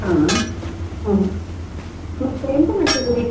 ಹಾ, ಮತ್ತೆ ಎಂತ ಮಾಡ್ತಿದ್ದೀರಿ ಈಗ?